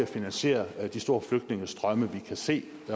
finansiere de store flygtningestrømme vi kan se